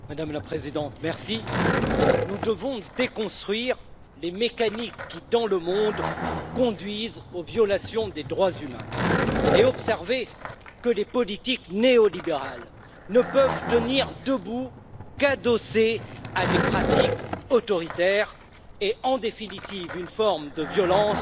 Madame la Présidente, nous devons déconstruire les mécaniques qui, dans le monde, conduisent aux violations des droits humains et observer que les politiques néo libérales ne peuvent tenir debout qu'adossées à des pratiques autoritaires et, en définitive, à une forme de violence